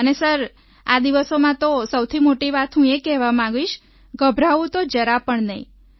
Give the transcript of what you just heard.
અને સર આ દિવસોમાં તો સૌથી મોટી વાત હું કહેવા માંગીશ ગભરાવું તો જરા પણ નહીં